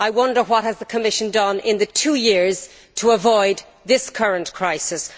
I wonder what the Commission has done in the two years to avoid this current crisis.